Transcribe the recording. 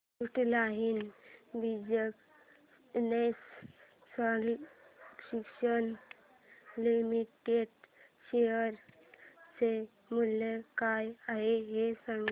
frontline business solutions limited share चे मूल्य काय आहे हे सांगा